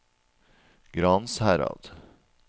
Gransherad